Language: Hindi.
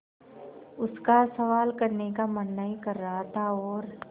उसका सवाल करने का मन नहीं कर रहा था और